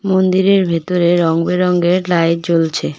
মন্দিরের ভেতরে রঙ-বেরঙের লাইট জ্বলছে।